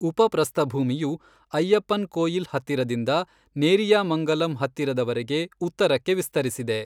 ಉಪಪ್ರಸ್ಥಭೂಮಿಯು ಅಯ್ಯಪ್ಪನ್ಕೋಯಿಲ್ ಹತ್ತಿರದಿಂದ ನೇರಿಯಾಮಂಗಲಂ ಹತ್ತಿರದವರೆಗೆ ಉತ್ತರಕ್ಕೆ ವಿಸ್ತರಿಸಿದೆ.